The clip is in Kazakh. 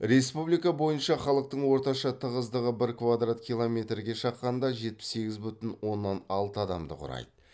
республика бойынша халықтың орташа тығыздығы бір квадрат километрге шаққанда жетпіс сегіз бүтін оннан алты адамды құрайды